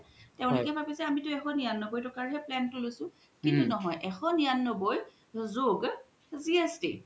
তেওলোকে ভাবিছে আমি এশ নিৰান্নবৈ টাকাৰ হে plan তো লইছো কিন্তু নহয় এশ নিৰান্নবৈ জুগ জিএছটি